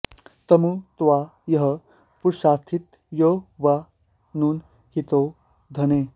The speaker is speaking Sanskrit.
तमु॑ त्वा॒ यः पु॒रासि॑थ॒ यो वा॑ नू॒नं हि॒ते धने॑